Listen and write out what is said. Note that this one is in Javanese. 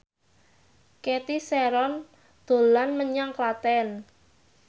Cathy Sharon dolan menyang Klaten